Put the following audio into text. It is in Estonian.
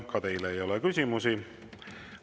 Ka teile ei ole küsimusi.